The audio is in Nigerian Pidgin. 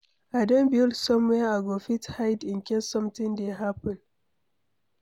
I don build somewhere I go fit hide in case something dey happen.